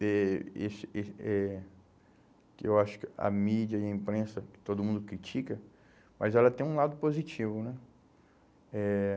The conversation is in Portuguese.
que esse esse eh que eu acho que a mídia e a imprensa, que todo mundo critica, mas ela tem um lado positivo, né? Eh